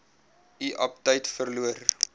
u aptyt verloor